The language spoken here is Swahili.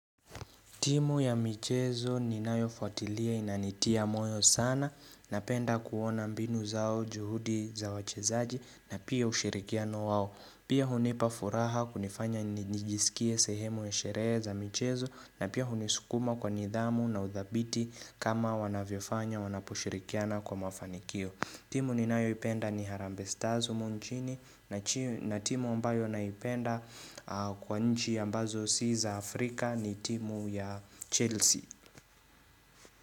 Timu ya michezo ninayofuatilia inanitia moyo sana Napenda kuona mbinu zao juhudi za wachezaji na pia ushirikiano wao. Pia hunipafuraha kunifanya nijisikie sehemu ya sherehe michezo na pia hunisukuma kwa nidhamu na udhabiti kama wanavyofanya wanapushirikiana kwa mafanikio timu ninayoipenda ni harambee stars humu chini na timu ambayo naipenda kwa nchi ambazo si za Afrika ni timu ya Chelsea.